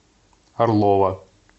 орлова